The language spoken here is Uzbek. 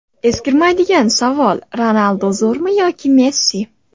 Eskirmaydigan savol: Ronaldu zo‘rmi yoki Messi?